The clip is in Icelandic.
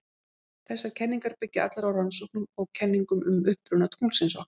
Þessar kenningar byggja allar á rannsóknum og kenningum um uppruna tunglsins okkar.